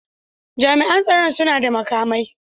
Jami'an tsoron suna da makamai.